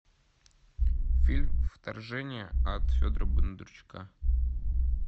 фильм вторжение от федора бондарчука